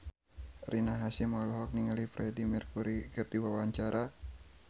Rina Hasyim olohok ningali Freedie Mercury keur diwawancara